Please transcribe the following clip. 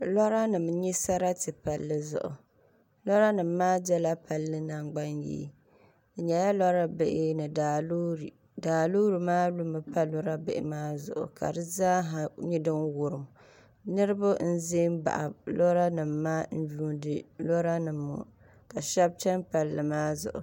Lora nim n nyɛ sariti palli zuɣu lora nim maa dola palli nangbani yee di nyɛla lora bihi ni daa loori daa loori maa lumi pa lora bihi maa zuɣu ka di zaaha nyɛ din wurim niraba n ʒɛ n baɣa lora nim maa n yuundi lora nim ŋɔ ka shab chɛni palli maa zuɣu